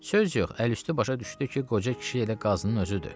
Söz yox, əl üstü başa düşdü ki, qoca kişi elə Qazının özüdür.